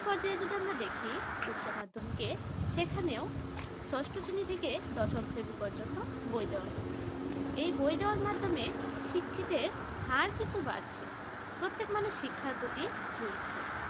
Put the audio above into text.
যার জন্য দেখি উচ্চমাধ্যমিকে সেখানে ষষ্ঠ শ্রেণি থেকে দশম শ্রেণি পর্যন্ত বই দেওয়া হচ্ছে এই বই দেওয়ার মাধ্যমে শিক্ষিতের হার কিন্তু বাড়ছে প্রত্যেক মানুষ শিক্ষার প্রতি ঝুকছে